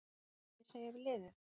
Hvað mun ég segja við liðið?